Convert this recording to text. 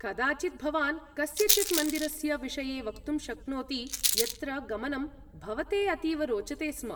कदाचित् भवान् कस्यचित् मन्दिरस्य विषये वक्तुं शक्नोति यत्र गमनं भवते अतीव रोचते स्म।